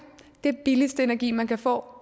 den billigste energi man kan få